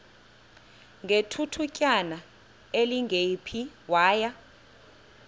ngethutyana elingephi waya